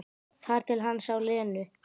Þar til hann sá Lenu.